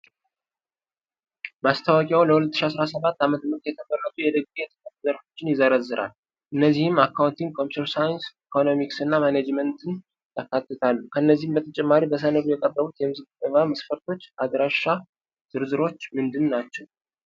ማስታወቂያው ለ2017 ዓ.ም. የተመረጡ የዲግሪ የትምህርት ዘርፎችን ይዘረዝራል፤ እነዚህም አካውንቲንግ፣ ኮምፒዩተር ሳይንስ፣ ኢኮኖሚክስ እና ማኔጅመንትን ያካትታሉ። ከዚህ በተጨማሪ በሰነዱ የቀረቡት የምዝገባ መስፈርቶችና አድራሻ ዝርዝሮች ምንድን ናቸው?